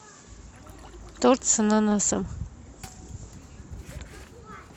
торт с ананасом